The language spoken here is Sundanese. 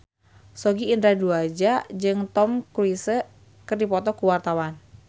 Sogi Indra Duaja jeung Tom Cruise keur dipoto ku wartawan